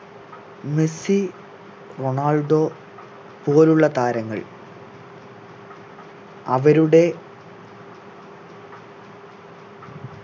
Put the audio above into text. Messi Ronaldo പോലുള്ള താരങ്ങൾ അവരുടെ